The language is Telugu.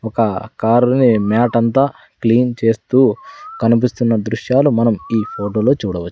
ఒక కారుని మ్యాట్ అంతా క్లీన్ చేస్తూ కనిపిస్తున్న దృశ్యాలు మనం ఈ ఫోటోలో చూడవ--